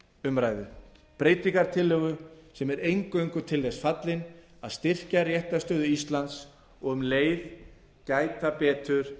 umræðu breytingartillögu sem er eingöngu til þess fallin að styrkja réttarstöðu íslands og um leið gæta betur